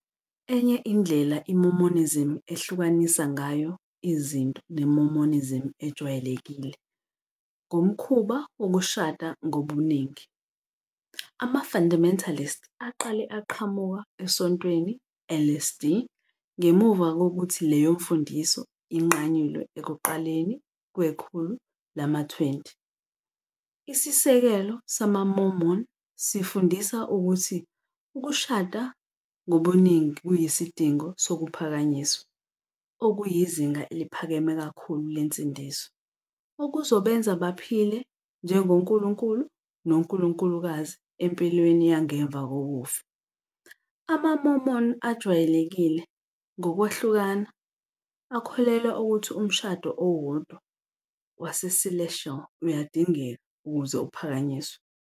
Enye indlela iMormonism ehlukanisa ngayo izinto neMormonism ejwayelekile ngomkhuba wokushada ngobuningi. Ama-Fundamentalists aqale aqhamuka eSontweni LDS ngemuva kokuthi leyo mfundiso inqanyulwe ekuqaleni kwekhulu lama-20. Isisekelo samaMormon sifundisa ukuthi ukushada ngobuningi kuyisidingo sokuphakanyiswa, okuyizinga eliphakeme kakhulu lensindiso, okuzobenza baphile njengonkulunkulu nonkulunkulukazi empilweni yangemva kokufa. Ama-Mormon ajwayelekile, ngokwahlukana, akholelwa ukuthi umshado owodwa waseCelestial uyadingeka ukuze uphakanyiswe.